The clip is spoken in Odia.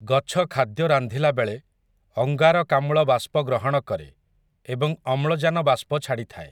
ଗଛ ଖାଦ୍ୟ ରାନ୍ଧିଲାବେଳେ, ଅଙ୍ଗାରକାମ୍ଳ ବାଷ୍ପ ଗ୍ରହଣ କରେ, ଏବଂ ଅମ୍ଳଜାନ ବାଷ୍ପ ଛାଡ଼ିଥାଏ ।